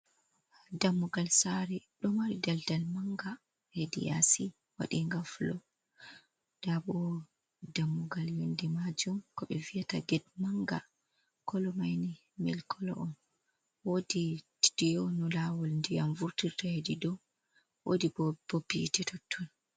Dammugal sare ɗo mari daldal manga hedi yasi waɗinga fulo. Nda bo dammugal yonde majum ko ɓe viyata ged manga kolo mai ni milik kolo on. Wodi tiyo no lawol ndiyam vurtirta hedi dou, wodi bo bob hite totton.